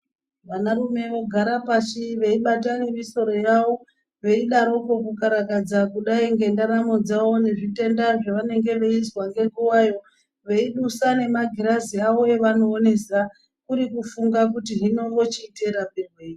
Vanarume vogara pashi veibata nemisoro yavo veidaroko kukarakadza kudai kudai nendaramodzavo kudai nezvitenda zvavanenge veizwa ngenguvayo. Veidusa nemagirazi avo avanoonesa kuri kufunda kuri hino vochita murapirwei.